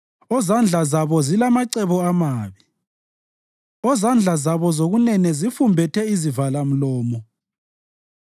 ozandla zabo zilamacebo amabi, ozandla zabo zokunene zifumbethe izivalamlomo.